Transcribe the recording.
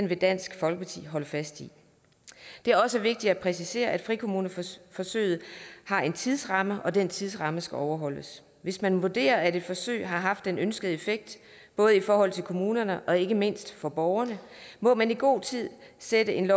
vil dansk folkeparti holde fast i det er også vigtigt at præcisere at frikommuneforsøget har en tidsramme og den tidsramme skal overholdes hvis man vurderer at et forsøg har haft den ønskede effekt både i forhold til kommunerne og ikke mindst for borgerne må man i god tid sætte en